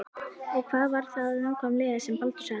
Og hvað var það nákvæmlega sem Baldur sagði?